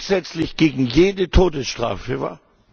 grundsätzlich gegen jede Todesstrafe war?